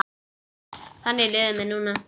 Þannig líður mér núna.